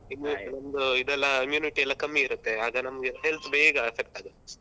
ಒಂದು ಇದೆಲ್ಲ immunity ಎಲ್ಲ ಕಮ್ಮಿ ಇರುತ್ತೆ ಆಗ ನಮಗೆ health ಬೇಗ effect ಆಗತ್ತೆ.